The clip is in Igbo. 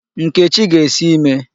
Nkechi ga-esi ime.